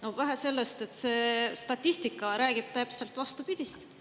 Aga statistika räägib täpselt vastupidist.